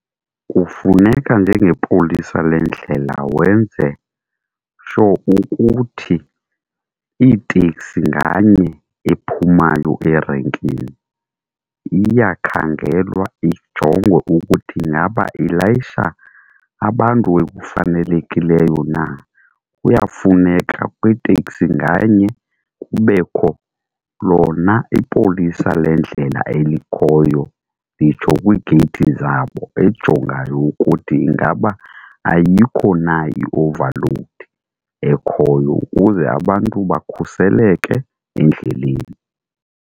Kufuneka njengepolisa lendlela wenze sho ukuthi iiteksi nganye ephumayo erenkini iyakhangelwa ijongwe ukuthi ingaba ilayisha abantu ekufanelekileyo na. Kuyafuneka kwiitekisi nganye kubekho lona ipolisa lendlela elikhoyo nditsho kwiigeyithi zabo ejongayo ukuthi ingaba ayikho na i-overload ekhoyo, ukuze abantu bakhuseleke endleleni.